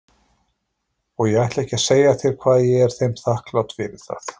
Og ég ætla ekki að segja þér hvað ég er þeim þakklát fyrir það.